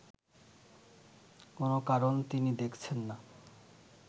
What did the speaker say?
কোন কারণ তিনি দেখছেন না